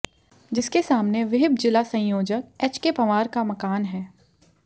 जिसके सामने विहिप जिला संयोजक एचके पंवार का मकान है